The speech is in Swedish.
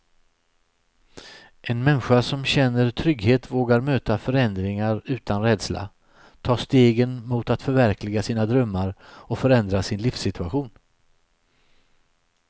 En människa som känner trygghet vågar möta förändringar utan rädsla, ta stegen mot att förverkliga sina drömmar och förändra sin livssituation.